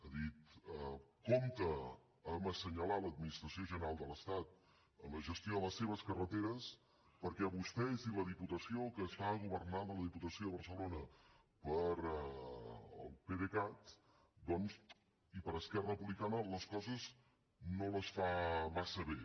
ha dit compte amb assenyalar l’administració general de l’estat en la gestió de la seves carreteres perquè vostès i la diputació que està governada la diputació de barcelona pel pdecat doncs i per esquerra republicana les coses no les fa massa bé